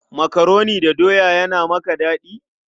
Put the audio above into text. Makaroni da doya yana maka daɗi?